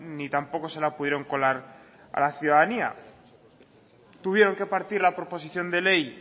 ni tampoco se la pudieron colar a la ciudadanía tuvieron que partir la proposición de ley